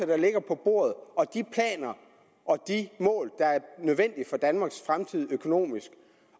der ligger på bordet og de planer og de mål der er nødvendige for danmarks fremtid økonomisk